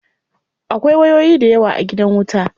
Akwai wayoyi dayawa a gidan wuta.